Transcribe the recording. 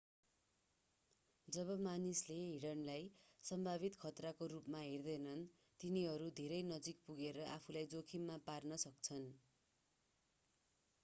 जब मानिसले हिरणलाई सम्भावित खतराको रूपमा हेर्दैनन् तिनीहरू धेरै नजिक पुगरे आफूलाई जोखिममा पार्न सक्छन्